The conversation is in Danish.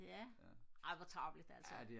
ja ej hvor tarveligt altså